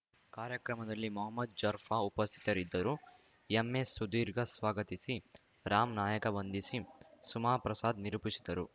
ಕಾರ್ಯಕ್ರಮದಲ್ಲಿ ಮೊಹಮ್ಮದ್‌ ಜಾರ್ಫ ಉಪಸ್ಥಿತರಿದ್ದರು ಎಂಎಸ್‌ಸುಧೀರ್‌ ಸ್ವಾಗತಿಸಿ ರಾಮ್‌ ನಾಯಕ ವಂದಿಸಿ ಸುಮಾ ಪ್ರಸಾದ್‌ ನಿರೂಪಿಸಿದರು